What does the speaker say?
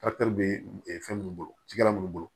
be fɛn minnu bolo cikɛla nunnu bolo